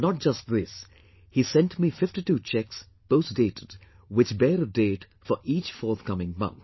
And not just this, he sent me 52 cheques, post dated, which bear a date for each forthcoming month